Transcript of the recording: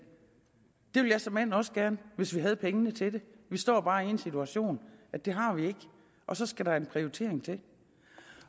det ville jeg såmænd også gerne hvis vi havde pengene til det vi står bare i den situation at det har vi ikke og så skal der en prioritering til